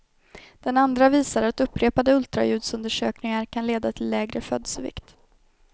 Den andra visar att upprepade ultraljudsundersökningar kan leda till lägre födelsevikt.